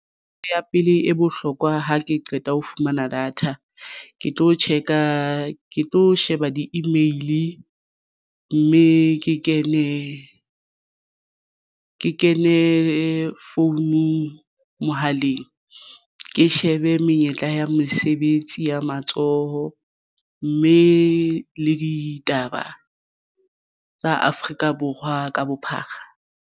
Ya pele e bohlokwa ha ke qeta ho fumana data ke tlo check-a ke tlo sheba di-email mme ke kene founung mohaleng ke shebe menyetla ya mesebetsi ya matsoho mme le ditaba tsa Afrika Borwa ka bophara.